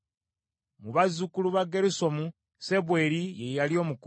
Mu bazzukulu ba Gerusomu, Sebweri ye yali omukulu.